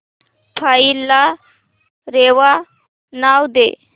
file ला रेवा नाव दे